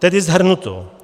Tedy shrnuto.